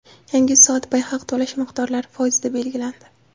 Yangi soatbay haq to‘lash miqdorlari foizda belgilandi.